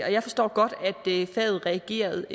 og jeg forstår godt at faget reagerede